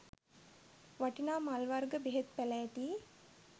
වටිනා මල් වර්ග බෙහෙත් පැළෑටි